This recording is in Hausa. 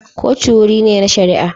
Kotun wuri ne na shari'a.